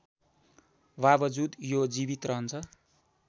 बावजुद यो जीवित रहन्छ